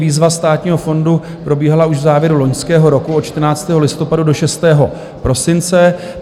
Výzva Státního fondu probíhala už v závěru loňského roku, od 14. listopadu do 6. prosince.